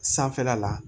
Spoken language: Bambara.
Sanfɛla la